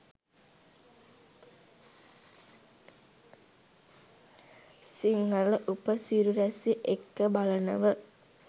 සිංහල උපසිරැසි එක්ක බලනව